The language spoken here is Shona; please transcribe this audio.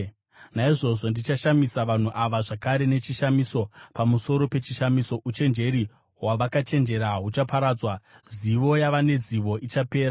Naizvozvo ndichashamisa vanhu ava zvakare nechishamiso pamusoro pechishamiso; uchenjeri hwavakachenjera huchaparadzwa, zivo yavane zivo ichapera.”